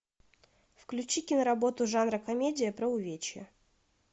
включи киноработу жанра комедия про увечья